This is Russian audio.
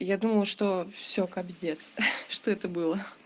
и я думал что все кабздец ха что это было